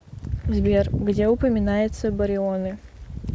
сбер где упоминается барионы